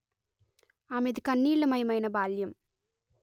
ఆమెది కన్నీళ్లమయమైన బాల్యం